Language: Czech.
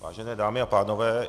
Vážené dámy a pánové.